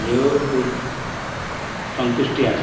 যেয়েও খুব সন্তুষ্টি আছে